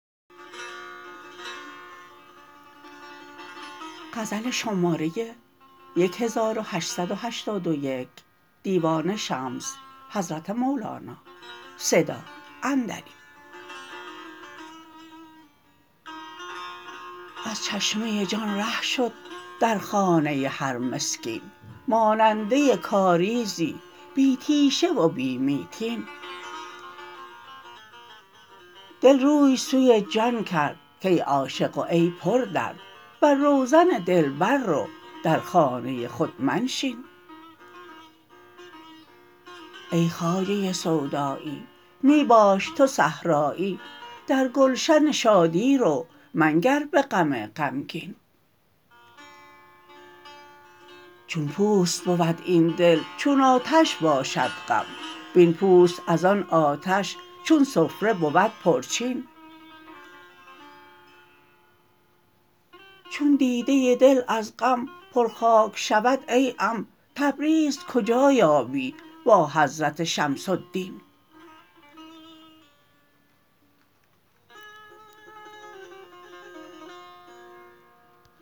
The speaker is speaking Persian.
از چشمه جان ره شد در خانه هر مسکین ماننده کاریزی بی تیشه و بی میتین دل روی سوی جان کرد کای عاشق و ای پردرد بر روزن دلبر رو در خانه خود منشین ای خواجه سودایی می باش تو صحرایی در گلشن شادی رو منگر به غم غمگین چون پوست بود این دل چون آتش باشد غم وین پوست از آن آتش چون سفره بود پرچین چون دیده دل از غم پرخاک شود ای غم تبریز کجا یابی با حضرت شمس الدین